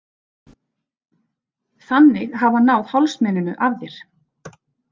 Þannig hafi hann náð hálsmeninu af þér.